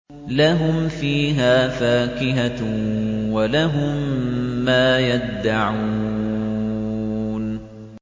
لَهُمْ فِيهَا فَاكِهَةٌ وَلَهُم مَّا يَدَّعُونَ